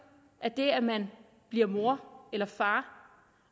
at det at man bliver mor eller far